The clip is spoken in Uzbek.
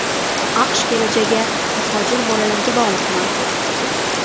AQSh kelajagi muhojir bolalarga bog‘liqmi?